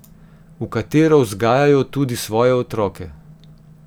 V katero vzgajajo tudi svoje otroke.